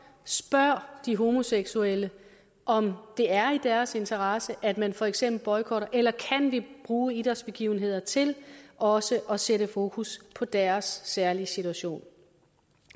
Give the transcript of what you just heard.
spørg de homoseksuelle om det er i deres interesse at man for eksempel boykotter eller kan vi bruge idrætsbegivenheder til også at sætte fokus på deres særlige situation